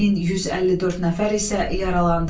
1154 nəfər isə yaralandı.